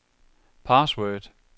password